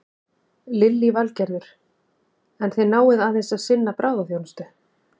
Lillý Valgerður: En þið náið aðeins að sinna bráðaþjónustu?